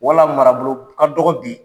Wala marabolo ka dɔgɔ bi